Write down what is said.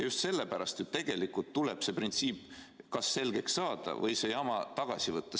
Just sellepärast tuleb kas see printsiip selgeks saada või see jama tagasi võtta.